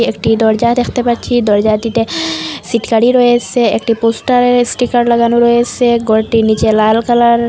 একটি দরজা দেখতে পাচ্ছি দরজাটিতে ছিটকালি রয়েসে একটি পোস্টারের স্টিকার লাগানো রয়েসে ঘরটির নীচে লাল কালার --